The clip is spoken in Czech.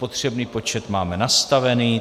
Potřebný počet máme nastavený.